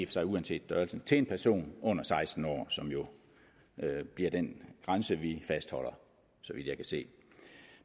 sig uanset størrelsen til en person under seksten år som jo bliver den grænse vi fastholder så vidt jeg kan se